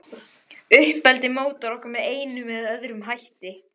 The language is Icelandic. Uppeldið mótar okkur með einum eða öðrum hætti.